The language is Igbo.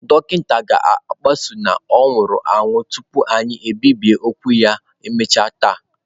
Dọkịta ga-akpọsa na ọ nwụrụ anwụ tupu anyị ebibie okwu ya ma emechaa taa.